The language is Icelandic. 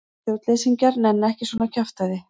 Stjórnleysingjar nenna ekki svona kjaftæði.